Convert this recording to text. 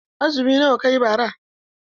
Azumi nawa kayi bara?